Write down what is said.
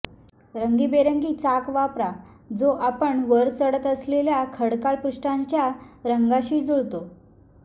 रंगीबेरंगी चाक वापरा जो आपण वर चढत असलेल्या खडकाळ पृष्ठाच्या रंगाशी जुळतो